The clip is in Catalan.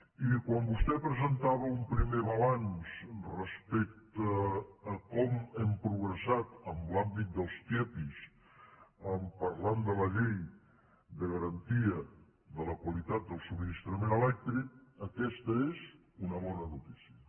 i quan vostès presentava un primer balanç respecte a com hem progressat en l’àmbit dels tiepi parlant de la llei de garantia de la qualitat del subministrament elèctric aquesta és una bona notícia